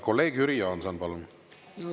Kolleeg Jüri Jaanson, palun!